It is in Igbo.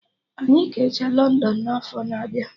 Anyị ga-eje London n'afọ na abịa